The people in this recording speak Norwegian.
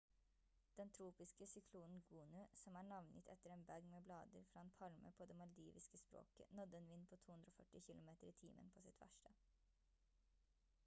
den tropiske syklonen gonu som er navngitt etter en bag med blader fra en palme på det maldiviske språket nådde en vind på 240 km i timen på sitt verste